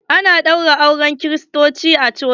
Ana ɗaura auren kiristoci a coci.